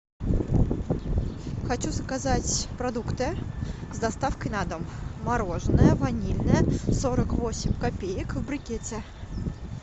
хочу заказать продукты с доставкой на дом мороженое ванильное сорок восемь копеек в брикете